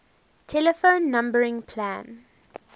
telephone numbering plan